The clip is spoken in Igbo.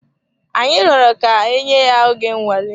Anyi rọrọ ka enye ya oge nnwale.